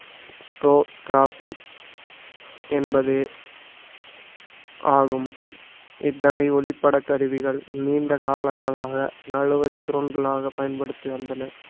என்பது ஆகும் இத்தகை ஒளிப்பட கருவிகள் நீண்ட காலங்களாக நழுவச் சுருண்டளாக பயன்படுத்தி வந்தனர்